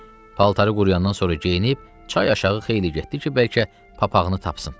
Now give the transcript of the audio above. Paltarı quruyandan sonra geyinib çay aşağı xeyli getdi ki, bəlkə papaqını tapsın.